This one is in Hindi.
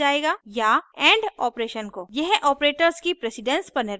यह operators की precedence पर निर्भर करता है